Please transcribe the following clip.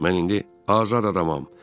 Mən indi azad adamam.